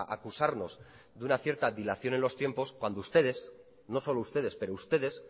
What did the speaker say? a acusarnos de una cierta dilación en los tiempos cuando ustedes no solo ustedes pero ustedes